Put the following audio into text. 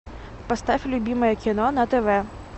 поставь любимое кино на тв